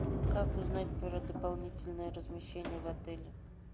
как узнать про дополнительное размещение в отеле